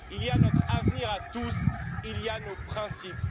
Il y a notre avenir à tous, il y a nos principes.